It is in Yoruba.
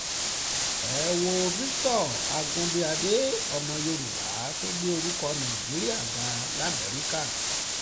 ẹ wo victor agunbíàdé ọmọ yorùbá tó gbé orúkọ nàìjíríà ga lamẹ́ríkà